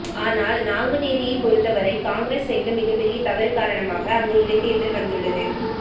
ஆனால் நாங்குநேரியை பொருத்தவரை காங்கிரஸ் செய்த மிகப்பெரிய தவறு காரணமாக அங்கு இடைத்தேர்தல் வந்துள்ளது